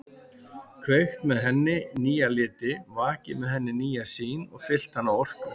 Kveikt með henni nýja liti, vakið með henni nýja sýn og fyllt hana orku.